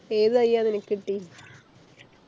ഏതു തൈ ആ നിനക്ക് കിട്ടിയെ